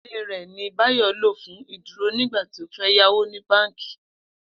Ilé rè̩ ni Báyò̩ lò fún ìdúrò nígbà tí ó fé̩ yáwó ní báǹkì